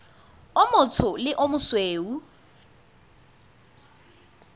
o motsho le o mosweu